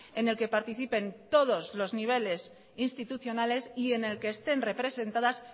en el que participen todos los niveles institucionales y en el que estén representadas